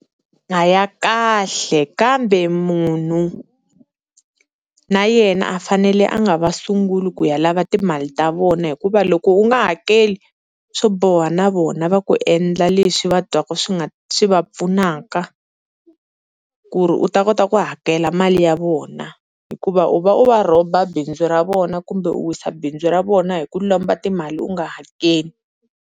A ya kahle, kambe munhu na yena a fanele a nga va sungula ku ya lava timali ta vona hikuva loko u nga hakeli swo boha na vona va ku endla leswi va twaka swi nga, swi va pfunaka ku ri u ta kota ku hakela mali ya vona. Hikuva u va u va rhoba bindzu ra vona kumbe u wisa bindzu ra vona hi ku lomba timali u nga hakeli.